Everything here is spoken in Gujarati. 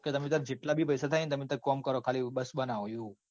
કે તમેતાર જેટલા બી પૈસા થહિ ન તમે તાર કોમ કરો ખાલી બસ બનાવો. એવું